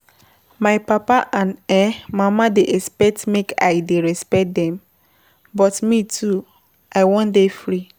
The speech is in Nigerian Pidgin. My papa and um mama dey expect make I dey respect dem, but me too I wan dey free.